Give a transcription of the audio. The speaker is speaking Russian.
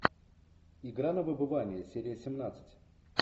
игра на выбывание серия семнадцать